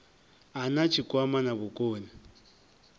a na tshikwama na vhukoni